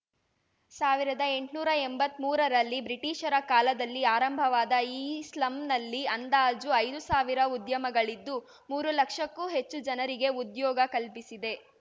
ಸಾವಿರದ ಎಂಟ್ನೂರಾ ಎಂಬತ್ಮೂರರಲ್ಲಿ ಬ್ರಿಟೀಷರ ಕಾಲದಲ್ಲಿ ಆರಂಭವಾದ ಈ ಸ್ಲಂನಲ್ಲಿ ಅಂದಾಜು ಐದು ಸಾವಿರ ಉದ್ಯಮಗಳಿದ್ದು ಮೂರು ಲಕ್ಷಕ್ಕೂ ಹೆಚ್ಚು ಜನರಿಗೆ ಉದ್ಯೋಗ ಕಲ್ಪಿಸಿದೆ